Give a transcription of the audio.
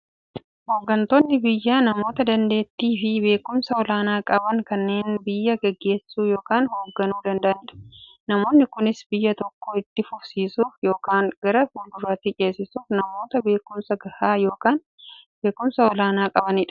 Hooggantoonni biyyaa namoota daandeettiifi beekumsa olaanaa qaban, kanneen biyya gaggeessuu yookiin hoogganuu danda'aniidha. Namoonni kunis, biyya tokko itti fufsiisuuf yookiin gara fuulduraatti ceesisuuf, namoota beekumsa gahaa yookiin beekumsa olaanaa qabaniidha.